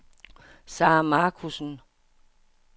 Sarah Marcussen